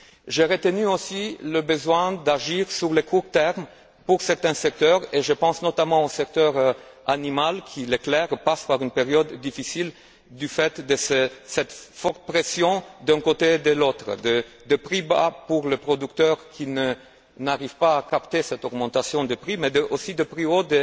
J'ai aussi retenu le besoin d'agir sur le court terme pour certains secteurs et je pense notamment au secteur animal qui, il est clair, passe par une période difficile du fait de cette forte pression d'un côté et de l'autre, de prix bas pour le producteur qui n'arrive pas à profiter de cette augmentation de prix, mais aussi de prix hauts